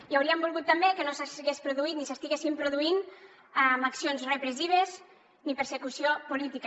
i hauríem volgut també que no s’hagués produït ni s’estiguessin produint accions repressives ni persecució política